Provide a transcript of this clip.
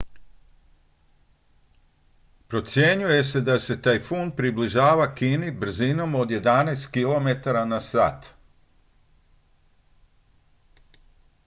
procjenjuje se da se tajfun približava kini brzinom od jedanaest km/h